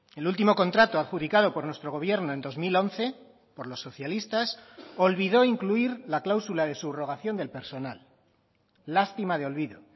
el último contrato adjudicado por nuestro gobierno en dos mil once por los socialistas olvidó incluir la cláusula de subrogación del personal lástima de olvido